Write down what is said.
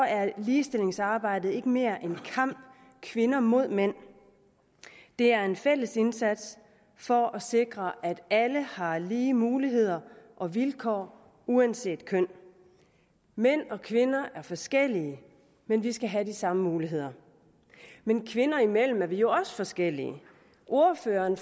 er ligestillingsarbejdet ikke mere en kamp kvinder mod mænd det er en fælles indsats for at sikre at alle har lige muligheder og vilkår uanset køn mænd og kvinder er forskellige men vi skal have de samme muligheder men kvinder imellem er vi jo også forskellige ordføreren